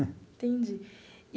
Entendi.